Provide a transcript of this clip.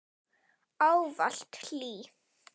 Ávallt hlý.